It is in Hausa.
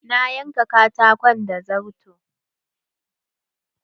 Na yanka katakon da zarto.